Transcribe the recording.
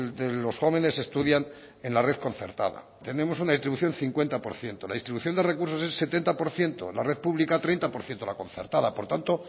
de los jóvenes estudian en la red concertada tenemos una distribución cincuenta por ciento la distribución de recursos es setenta por ciento la red pública treinta por ciento la concertada por lo tanto